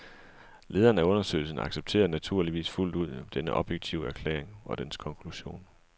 Lederen af undersøgen accepterede naturligvis fuldt ud denne objektive erklæring og dens konklusion.